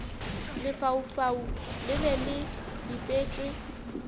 lefaufau le be le bipetšwe